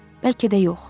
Bəlkə də yox.